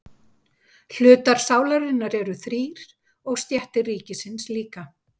Hlutar sálarinnar eru þrír og stéttir ríkisins líka.